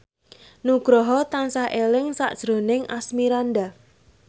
Nugroho tansah eling sakjroning Asmirandah